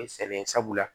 sɛgɛn sabula